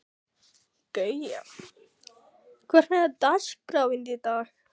Guja, hvernig er dagskráin í dag?